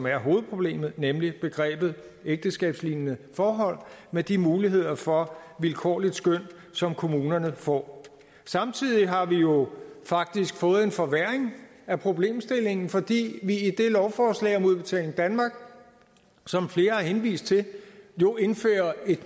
er hovedproblemet nemlig begrebet ægteskabslignende forhold med de muligheder for vilkårligt skøn som kommunerne får samtidig har vi jo faktisk fået en forværring af problemstillingen fordi vi i det lovforslag om udbetaling danmark som flere har henvist til indfører et